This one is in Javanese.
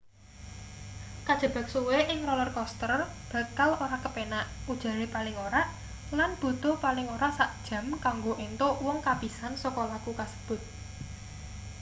kajebak suwe ing roller coaster bakal ora kepenak ujare paling ora lan butuh paling ora sak jam kanggo entuk wong kapisan saka laku kasebut